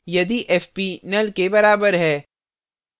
यदि fp null के बराबर है